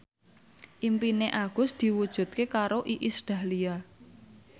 impine Agus diwujudke karo Iis Dahlia